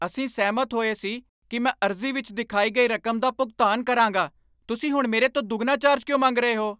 ਅਸੀਂ ਸਹਿਮਤ ਹੋਏ ਸੀ ਕਿ ਮੈਂ ਅਰਜ਼ੀ ਵਿੱਚ ਦਿਖਾਈ ਗਈ ਰਕਮ ਦਾ ਭੁਗਤਾਨ ਕਰਾਂਗਾ। ਤੁਸੀਂ ਹੁਣ ਮੇਰੇ ਤੋਂ ਦੁੱਗਣਾ ਚਾਰਜ ਕਿਉਂ ਮੰਗ ਰਹੇ ਹੋ?